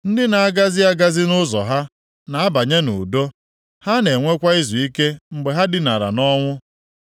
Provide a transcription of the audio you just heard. Ndị na-agazi agazi nʼụzọ ha na-abanye nʼudo. Ha na-enwekwa izuike mgbe ha dinara nʼọnwụ.